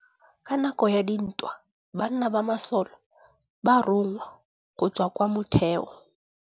Ka nakô ya dintwa banna ba masole ba rongwa go tswa kwa mothêô.